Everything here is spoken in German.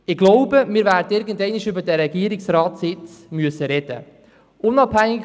Ich glaube, wir werden irgendwann einmal über diesen Regierungsratssitz sprechen müssen.